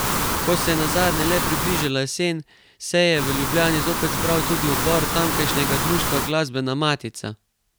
Ko se je nazadnje le približala jesen se je v Ljubljani zopet zbral tudi odbor tamkajšnjega društva Glasbena Matica.